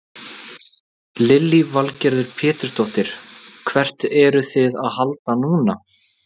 Lillý Valgerður Pétursdóttir: Hvert eruð þið að halda núna?